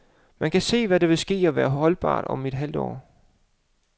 Han kan se, hvad der vil ske og være holdbart om et halvt år.